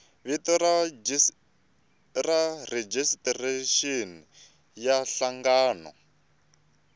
vito ra rejistrexini ya nhlangano